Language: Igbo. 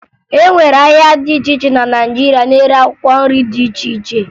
E nwere ahịa dị iche iche na Naịjirịa na-ere akwụkwọ nri dị iche iche